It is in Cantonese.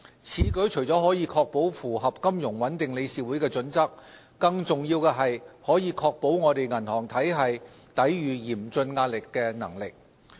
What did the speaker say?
此舉除了可確保符合金融穩定理事會的準則，更重要的是可確保我們銀行體系抵禦嚴峻壓力的能力。